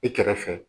I kɛrɛfɛ